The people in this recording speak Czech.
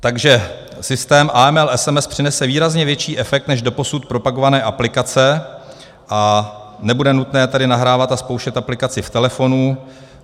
Takže systém AML SMS přinese výrazně větší efekt než doposud propagované aplikace, a nebude nutné tedy nahrávat a zkoušet aplikaci v telefonu.